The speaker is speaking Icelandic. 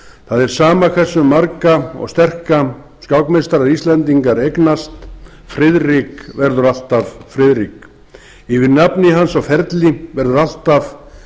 það er sama hversu marga og sterka skákmeistara íslendingar eignast friðrik verður alltaf friðrik yfir nafni hans og ferli verður alltaf